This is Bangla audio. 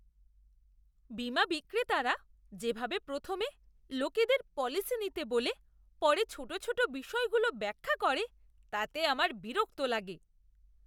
বীমা বিক্রেতারা যেভাবে প্রথমে লোকেদের পলিসি নিতে বলে পরে ছোট ছোট বিষয়গুলো ব্যাখ্যা করে, তাতে আমার বিরক্ত লাগে।